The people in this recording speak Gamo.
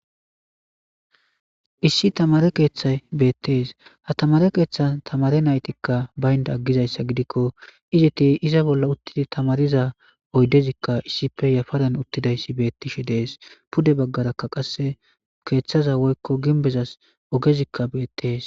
Issi tamare keeththay beettees ha tamare keeththan tamare naytikka baynda aggizayssa gidikko izeti iza bolla uttidi tamariza oydezikka issipe yafaran uttidayssi beettishe dees pude baggaraka qasse keeththaza woykko ginbezas ogezikka beettees.